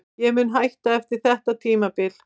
Ég mun hætta eftir þetta tímabil.